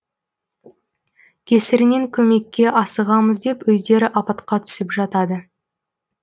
кесірінен көмекке асығамыз деп өздері апатқа түсіп жатады